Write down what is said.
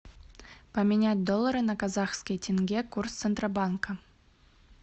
поменять доллары на казахские тенге курс центробанка